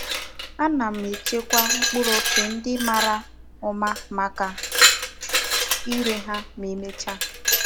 Ana m echekwa mkpuru ofe ndi mara uma maka ire ha ma e mechaa.